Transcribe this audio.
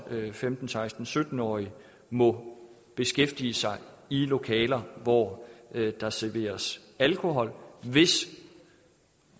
femten til seksten sytten årige må beskæftige sig i lokaler hvor der serveres alkohol hvis